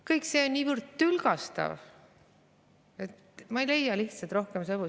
Kõik see on niivõrd tülgastav, ma ei leia lihtsalt rohkem sõnu.